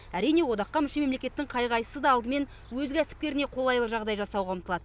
әрине одаққа мүше мемлекеттің қай қайсысы да алдымен өз кәсіпкеріне қолайлы жағдай жасауға ұмтылады